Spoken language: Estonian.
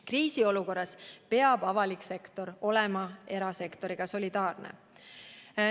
Kriisiolukorras peab avalik sektor olema erasektoriga solidaarne.